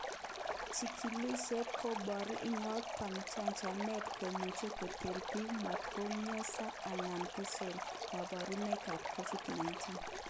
Chikilishet komoboru inkotko chanjanet komuche koter bik motkomioso anan kosto koborunoik kap Covid 19.